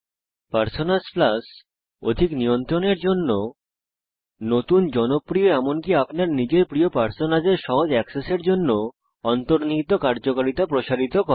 personas plus অধিক নিয়ন্ত্রণের জন্য নতুন জনপ্রিয় এবং এমনকি আপনার নিজের প্রিয় পার্সোনাসের সহজ এক্সেসের জন্য অন্তর্নিহিত কার্যকারিতা প্রসারিত করে